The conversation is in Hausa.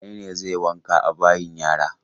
Wane ne zai wanka a bayin yara?